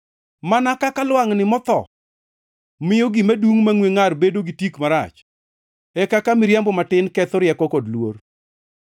Mana kaka lwangʼni motho miyo gima dungʼ mangʼwe ngʼar bedo gi tik marach, e kaka miriambo matin ketho rieko kod luor.